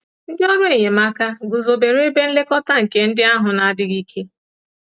Ndị ọrụ enyemaka guzobere ebe nlekọta nke ndị ahụ na-adịghị ike.